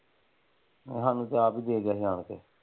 ਸਾਨੂੰ ਤੇ ਆਪ ਹੀ ਦੇ ਗਏ ਸੀ ਆਣ ਕੇ।